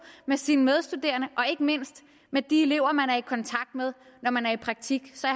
med sine medstuderende og ikke mindst med de elever man er i kontakt med når man er i praktik så